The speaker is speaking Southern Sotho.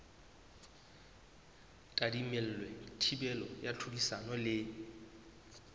tadimilwe thibelo ya tlhodisano le